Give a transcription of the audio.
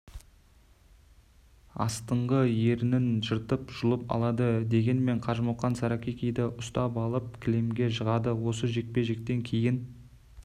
астыңғы ернін жыртып жұлып алады дегенмен қажымұқан саракикиді ұстап алып кілемге жығады осы жекпе-жектен кейін